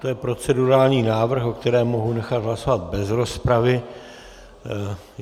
To je procedurální návrh, o kterém mohu nechat hlasovat bez rozpravy.